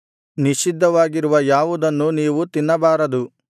ನಿಷಿದ್ಧವಾಗಿರುವ ಯಾವುದನ್ನೂ ನೀವು ತಿನ್ನಬಾರದು